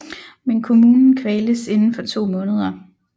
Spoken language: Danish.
Men kommunen kvaltes inden for to måneder